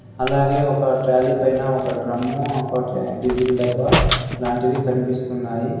అలాగే ఒక ట్రాలీ పైన ఒక డ్రమ్ము ఒకటి డిజిల్ డబ్బా లాంటివి కనిపిస్తున్నాయి.